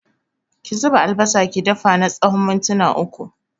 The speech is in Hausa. Ki zuba albasa ki dafa na tsawon mintuna uku